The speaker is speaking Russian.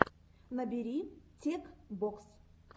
набери тек бокс